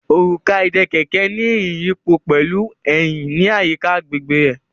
Òrùka ìdè kẹ̀kẹ́ ní ìrìn iyipo pẹlú Eyin ní àyíká agbègbè rẹ.